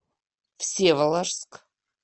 всеволожск